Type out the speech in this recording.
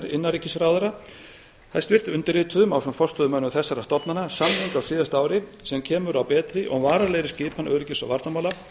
innanríkisráðherra undirrituðum ásamt forstöðumönnum þessara stofnana samning á síðast ári sem kemur á betri og varanlegri skipan innanríkis og varnarmála